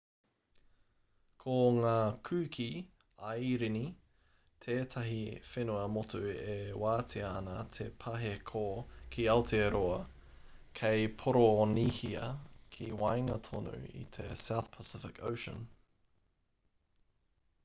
ko ngā kuki airini tētahi whenua motu e wātea ana te pāheko ki aotearoa kei poronihia ki waenga tonu i te south pacific ocean